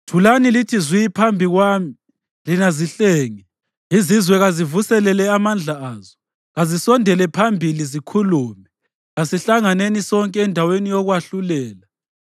“Thulani lithi zwi phambi kwami lina zihlenge! Izizwe kazivuselele amandla azo! Kazisondele phambili zikhulume; kasihlanganeni sonke endaweni yokwahlulela.